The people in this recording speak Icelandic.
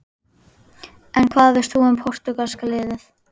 En hvað veist þú um Portúgalska-liðið?